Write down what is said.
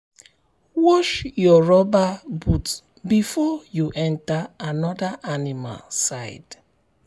wash your rubber boot before you um enter another animal side.